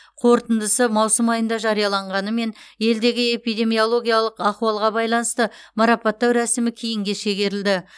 қорытындысы маусым айында жарияланғанымен елдегі эпидемиологиялық ахуалға байланысты марапаттау рәсімі кейінге шегерілді